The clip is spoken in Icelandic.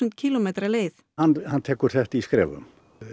kílómetra leið hann tekur þetta í skrefum